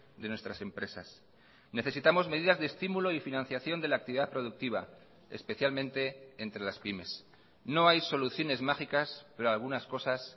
de nuestras empresas necesitamos medidas de estimulo y financiación de la actividad productiva especialmente entre las pymes no hay soluciones mágicas pero algunas cosas